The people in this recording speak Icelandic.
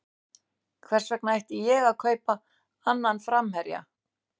Hvers vegna ætti ég að kaupa annan framherja?